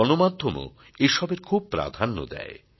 গণমাধ্যমও এসবের খুব প্রাধাণ্য দেয়